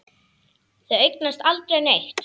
Þau eignast aldrei neitt.